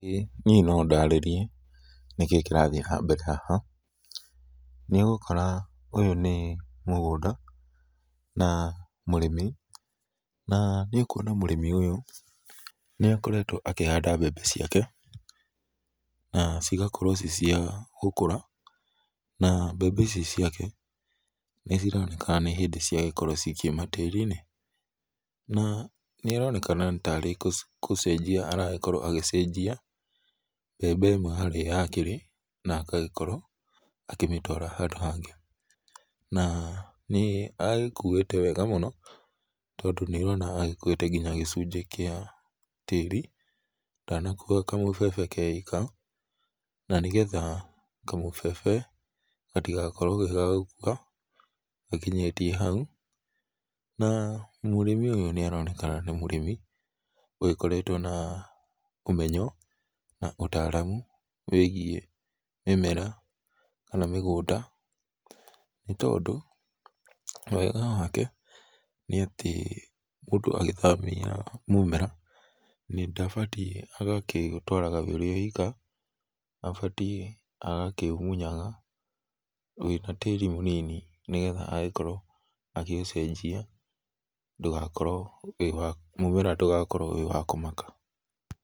Ĩĩ nĩe no ndarĩrie nĩkĩĩ kĩrathiĩ na mbere haha nĩ ũgũkora ũyũ nĩ mũgũnda na mũrĩmi na nĩ ũkũona mũrĩmi ũyũ nĩakertwo akĩhanda mbembe ciake na cigakorwo ci cia gũkũra, na mbembe ici ciake nĩ cironekana nĩ hĩndĩ ciagĩkorwo cikĩũma tarĩ inĩ na nĩ araonekena nĩ tarĩ gũcenjĩa aragĩkorwo agĩcenjĩa mbembe ĩmwe harĩa yakĩrĩ na agagĩkorwo akĩmĩtwara handũ hangĩ na nĩ agĩkũĩte wega mũno, tondũ nĩũrona nĩ agĩkũtĩte gĩcũnjĩ kĩa tarĩ ndanakũa kamũbebe ke ĩka na nĩ getha kamũbebe gatĩgakoĩrwo ge ga gũkũa gakĩnĩyĩtĩe haũ na mũrĩmi ũyũ nĩaraoekana nĩ mũrĩmi ũgĩkoretwo na ũmenyo na ũtaaramũ weigĩe mĩmera kana mĩgũnda, nĩ tondũ wega wake nĩ atĩ mũndũ agĩthamĩa mũmera ndagĩbatiĩ agagĩtwara we ĩka abatiĩ agakĩmũnya wĩna tarĩ mũnĩnĩ nĩgetha agĩkorwo agĩũncenjĩa ndũgakorwo wĩ wa mũmera mũmera ndũgakorwo wĩ wa kũmaka